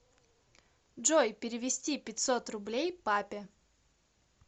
джой перевести пятьсот рублей папе